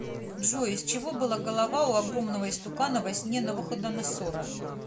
джой из чего была голова у огромного истукана во сне навуходоносора